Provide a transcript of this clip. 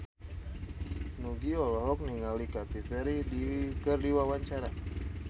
Nugie olohok ningali Katy Perry keur diwawancara